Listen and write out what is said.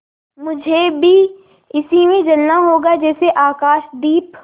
मुझे भी इसी में जलना होगा जैसे आकाशदीप